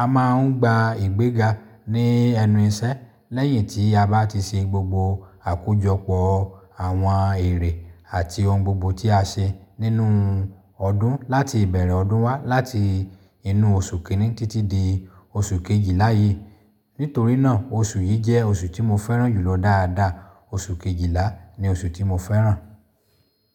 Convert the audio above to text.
a máa ń gba ìgbéga ní ẹnu iṣẹ́ lẹ́yìn tí a bá ti ṣe gbogbo àkójọpọ̀ àwọn èrè àti ohun gbogbo tí a ṣe nínú ọdún láti ìbẹ̀rẹ̀ ọdún wá láti inú oṣù kìíní títí di oṣù kejìlá yìí. Nítorí náà oṣù yìí jẹ́ oṣù tí mo fẹ́ràn jùlọ dáadáa. Oṣù kejìlá ni oṣù tí mo fẹ́ràn.